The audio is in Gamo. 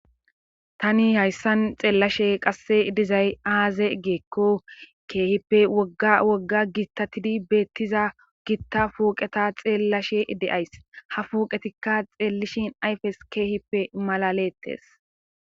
tani hayssan xeellashe qasse dizay-aaze geekko keehippe wogga wogga giittatidi beettiza giitta puoqeta xeellashe de7ays ha fuoqetikka xeellishin ayfes keehippe malalettes